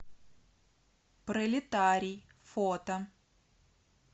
пролетарий фото